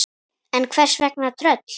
En hvers vegna tröll?